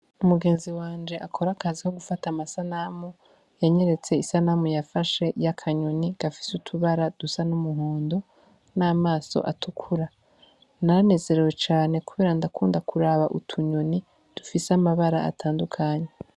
Umugenzi wanje akorakaziho gufata amasanamu yanyeretse isanamu yafashe yakanyoni gafise utubara dusa n'umuhondo n'amaso atukura naranezerewe cane, kubera ndakunda kuraba utunyoni dufise amabara atandukanye.